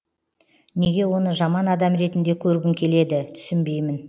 неге оны жаман адам ретінде көргің келеді түсінбеймін